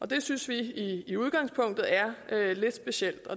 det synes vi i udgangspunktet er lidt specielt